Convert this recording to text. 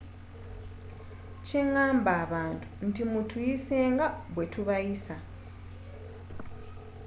kye ngamba abantu nti mutuyise nga bwe tubayisa